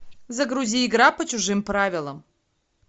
загрузи игра по чужим правилам